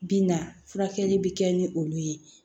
Bi na furakɛli bi kɛ ni olu ye